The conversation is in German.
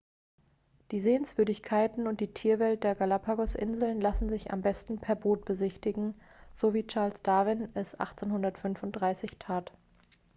die sehenswürdigkeiten und die tierwelt der galapagosinseln lassen sich am besten per boot besichtigen so wie charles darwin es 1835 tat